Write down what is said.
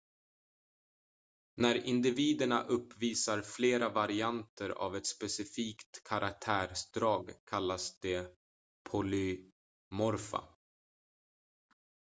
när individerna uppvisar flera varianter av ett specifikt karaktärsdrag kallas de polymorfa